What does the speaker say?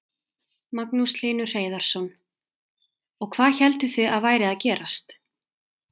Magnús Hlynur Hreiðarsson: Og hvað hélduð þið að væri að gerast?